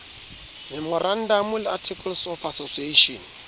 memorandamo le articles of association